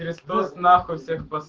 н